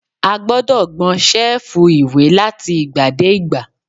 A gbọ́dọ̀ gbọn ṣẹ́ẹ̀fù ìwé láti ìgbà dé ìgbà.